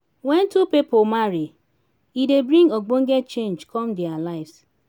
when two pipo marry e dey bring ogbonge change come their lives